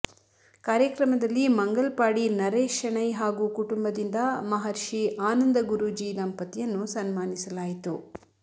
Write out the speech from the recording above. ಕಾರ್ಯಕ್ರಮದಲ್ಲಿ ಮಂಗಲ್ಪಾಡಿ ನರೇಶ್ ಶೆಣೈ ಹಾಗೂ ಕುಟುಂಬದಿಂದ ಮಹರ್ಷಿ ಆನಂದ ಗುರೂಜಿ ದಂಪತಿಯನ್ನು ಸನ್ಮಾನಿಸಲಾಯಿತು